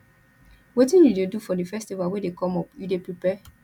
wetin you dey do for di festival wey dey come up you dey prepare